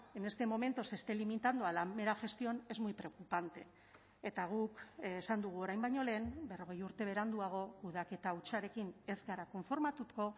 en este momento se esté limitando a la mera gestión es muy preocupante eta guk esan dugu orain baino lehen berrogei urte beranduago kudeaketa hutsarekin ez gara konformatuko